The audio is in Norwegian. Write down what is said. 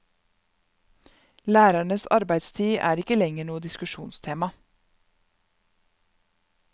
Lærernes arbeidstid er ikke lenger noe diskusjonstema.